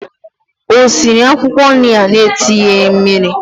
O siri akwụkwọ nri ahụ na-etinyeghị mmiri?